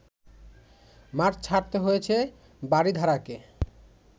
মাঠ ছাড়তে হয়েছে বারিধারাকে